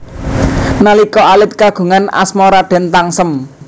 Nalika alit kagungan asma Raden Tangsem